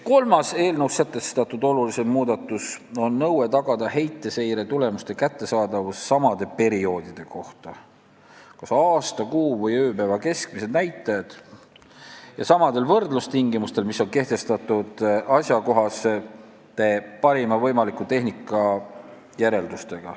Kolmas eelnõus sätestatud olulisem muudatus on nõue tagada heiteseire tulemuste kättesaadavus samade perioodide kohta ja samadel võrdlustingimustel, mis on kehtestatud asjakohastes parima võimaliku tehnika järeldustes.